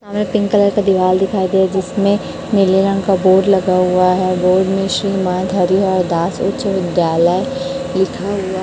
सामने pink colour का दीवाल दिखाई दे जिसमें नीले रंग का बोर्ड लगा हुआ हैं बोर्ड में श्री मान हरिहरदास उच्च विद्यालय लिखा हुआ--